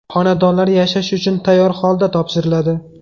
Xonadonlar yashash uchun tayyor holda topshiriladi.